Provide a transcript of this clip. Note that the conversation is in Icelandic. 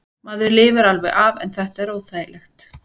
Maður lifir alveg af en þetta er óþægilegt.